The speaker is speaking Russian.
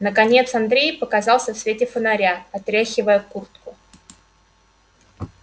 наконец андрей показался в свете фонаря отряхивая куртку